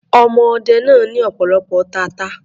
Ọmọ ọdẹ náà ní ọ̀pọ̀lọpọ̀ tata.